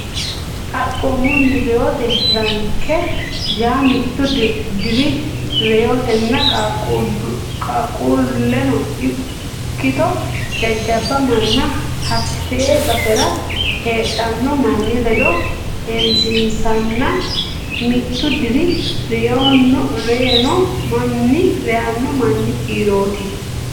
Xaphoomunni reyote ranke yaa mittu diri reytanno qaaqquulleno ikkito jajjabba manna hattee basera heedhanno manni ledo heewisiinsanna mittu diri reyanno manni kiirooti.